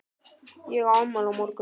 Ég á afmæli á morgun.